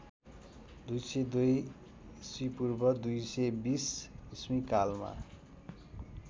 २०२ ईपू २२० ई कालमा